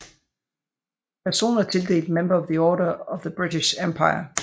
Personer tildelt Member of the Order of the British Empire